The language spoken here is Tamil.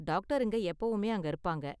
டாக்டருங்க எப்பவுமே அங்க இருப்பாங்க.